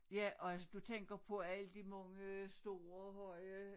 Ja og altså du tænker på alle de mange store høje